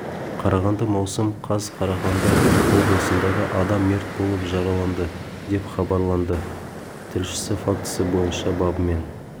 қарағанды маусым қаз қарағанды облысындағы адам мерт болып жараланды деп хабарлады тілшісі фактісі бойынша бабымен